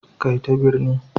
Kai ta birni